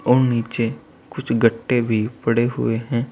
और नीचे कुछ गट्टे भी पड़े हुए हैं।